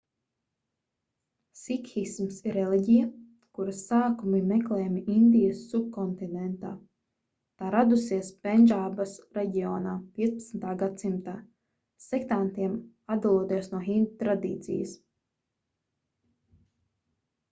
sikhisms ir reliģija kuras sākumi meklējami indijas subkontinentā tā radusies pendžābas reģionā 15. gadsimtā sektantiem atdaloties no hindu tradīcijas